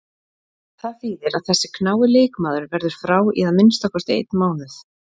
Það þýðir að þessi knái leikmaður verður frá í að minnsta kosti einn mánuð.